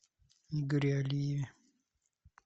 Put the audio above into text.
игоре алиеве